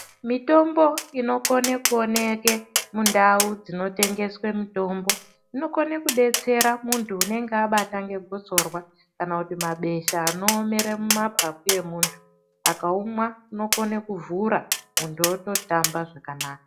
Mitombo inokone kuoneke mundau dzinotengeswe mitombo inokone kudetsera munhu unenge abatwa ngegotsorwa kana kuti mabesha anoomera mumapapu yemuntu. Akaumwa unokone kuvhura muntu ototamba zvakanaka.